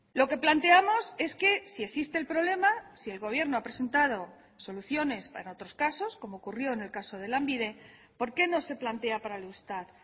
lo que planteamos es que si existe el problema si el gobierno ha presentado soluciones para otros casos como ocurrió en el caso de lanbide por qué no se plantea para el eustat